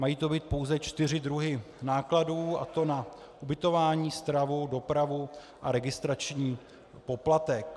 Mají to být pouze čtyři druhy nákladů, a to na ubytování, stravu, dopravu a registrační poplatek.